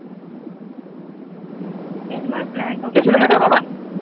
এলবার Blank